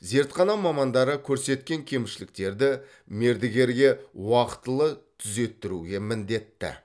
зертхана мамандары көрсеткен кемшіліктерді мердігерге уақтылы түзеттіруге міндетті